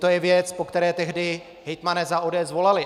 To je věc, po které tehdy hejtmani za ODS volali.